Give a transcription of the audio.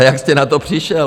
A jak jste na to přišel?